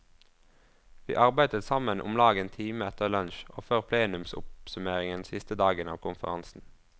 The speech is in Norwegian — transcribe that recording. Vi arbeidet sammen omlag en time etter lunsj og før plenumsoppsummering siste dagen av konferansen.